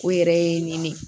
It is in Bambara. O yɛrɛ ye nɲini